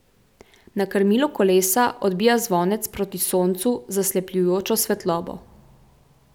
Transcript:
Na krmilu kolesa odbija zvonec proti soncu zaslepljujočo svetlobo.